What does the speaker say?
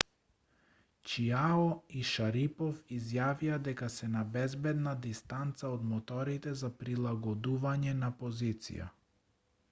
чиао и шарипов изјавија дека се на безбедна дистанца од моторите за прилагодување на позиција